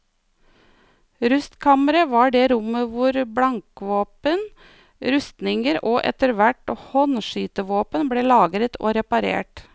Rustkammeret var det rommet hvor blankvåpen, rustninger og etter hvert håndskytevåpen ble lagret og reparert.